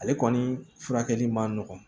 Ale kɔni furakɛli man nɔgɔn